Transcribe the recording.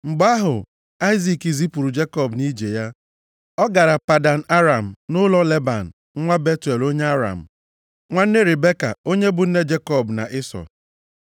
Mgbe ahụ Aịzik zipụrụ Jekọb nʼije ya, ọ gara Padan Aram, nʼụlọ Leban nwa Betuel onye Aram, nwanne Ribeka onye bụ nne Jekọb na Ịsọ.